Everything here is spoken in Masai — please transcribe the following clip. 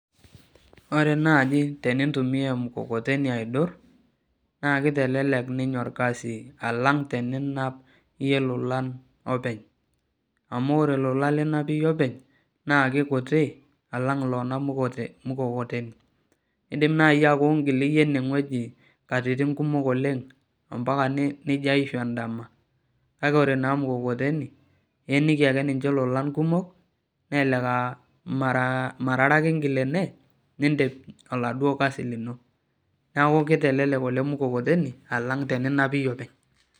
Ore naaji tenintumiya emukokoteni aidur naakeitelelek orkasi alang teninap ilolan openy amu ore ilolan linap iyie openy naakeikuti alang iloonap ina mukokoteni indiim naaji aaku ingiil iyie enewueji katitin kumok oleng ompaka nijio aaishu endama kake ore naaji mukokoteni ieniki ake ninche ilolan kumok nelelek aaa mara aree ake ingiil ene nindiim oladuo kazi lino neeku keitelelek ele mukokoteni alang teninap iyie openy